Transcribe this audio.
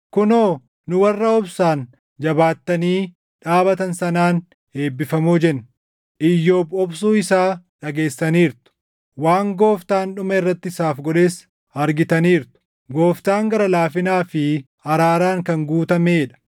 Kunoo, nu warra obsaan jabaattanii dhaabatan sanaan eebbifamoo jenna; Iyyoob obsuu isaa dhageessaniirtu; waan Gooftaan dhuma irratti isaaf godhes argitaniirtu. Gooftaan gara laafinaa fi araaraan kan guutamee dha.